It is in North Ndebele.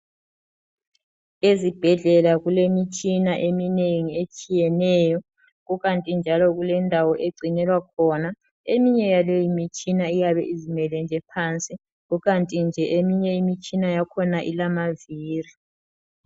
Ezibhedlela kulemitshina eminengi etshiyeneyo kukanti njalo kulendawo egcinelwa khona eminye yaleyi mitshina eyabe izimele nje phansi. Kukanti nje eminye imitshina yakhona ilamaviri.